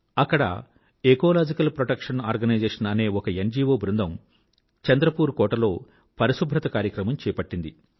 అక్కడ ecological protection organisation అనే ఒక న్గో బృందం చంద్రపూర్ కోటలో పరిశుభ్రత కార్యక్రమం చేపట్టింది